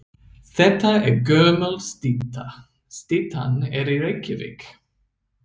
Þetta er gömul stytta. Styttan er í Reykjavík.